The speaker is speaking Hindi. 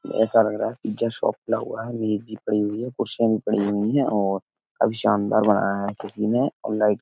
ऐसा लग रहा है पिज़्ज़ा शॉप खुला है। मेज़ भी पड़ी हुई है। कुर्सियां भी पड़ी हुई है और काफी शानदार बनाया है किसी ने और लाइट --